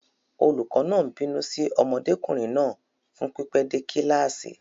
Olùkọ́ náà ń bínú sí ọmọdékùnrin náà fún pípẹ́ dé kíláàsì.